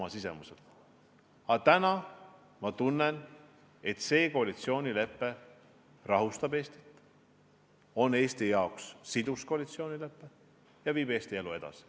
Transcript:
Aga täna ma tunnen, et see koalitsioonilepe rahustab Eestit, on Eesti jaoks sidus lepe ja viib Eesti elu edasi.